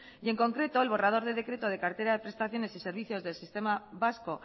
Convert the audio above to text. y en concreto el borrador de decreto de cartera de prestaciones y servicios del sistema vasco